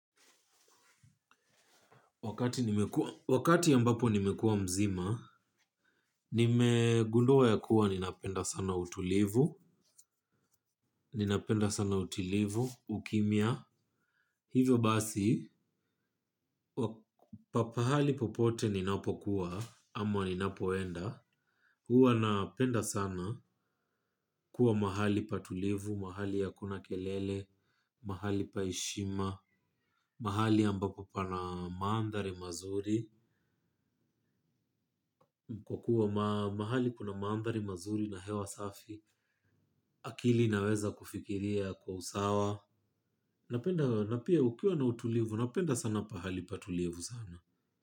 Wakati ambapo nimekua mzima, nime gundua ya kuwa ninapenda sana utulivu, ninapenda sana utulivu, ukimia. Hivo basi pahali popote ninapokua ama ninapoenda huwa napenda sana kuwa mahali patulivu, mahali akuna kelele, mahali paheshima, mahali ambapo pana mandari mazuri. Kwa kuwa mahali kuna maambari mazuri na hewa safi akili inaweza kufikiria kwa usawa. Napenda napia kukiwa na utulivu. Napenda sana pahali patulivu sana.